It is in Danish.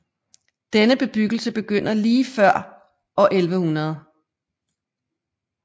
Denne bebyggelse begynder lige før år 1100